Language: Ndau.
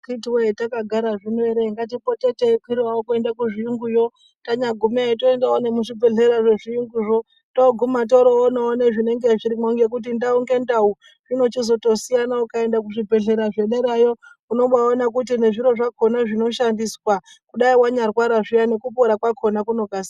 Akitiwoye takagara zvino ere ngatipote teikwirawo kuenda kuzviyunguyo. Tanyagumeyo toendawo nezvibhedhleya zvechiyunguzvo toguma torowoona nezvinenge zvirimwo ngekuti ndau ngendawu zvirozotosiyana. Ungaenda kuzvibhedhlera zvederaiyo unobawaona kuti nezviro zvakhona zvinoshandiswa dai wanyarwara zviya nekupora kwakhona kunokasira.